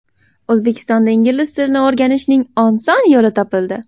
O‘zbekistonda Ingliz tilini o‘rganishning oson yo‘li topildi.